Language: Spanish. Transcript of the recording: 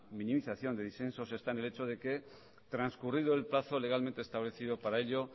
minimización de disensos está en el hecho de que transcurrido el plazo legalmente establecido para ello